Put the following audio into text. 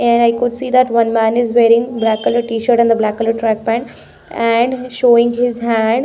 And i could see that one man is wearing black color t-shirt and the black color track pant and showing his hand.